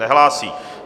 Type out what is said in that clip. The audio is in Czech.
Nehlásí.